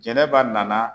Jɛnɛba nana